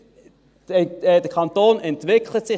Leute, der Kanton entwickelt sich!